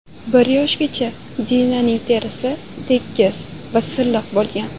Bir yoshgacha Dinaning terisi tekis va silliq bo‘lgan.